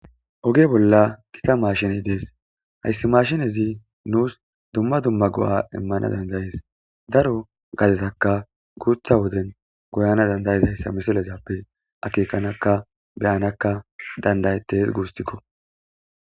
Oge bolla kita maashine dees hayssi mashinezi nuus dumma dumma go'a immana dandayees daro gazetaka guutha woden goyana dandayizayssa misilezappe akikanakka beyanakka dandayetes guustikko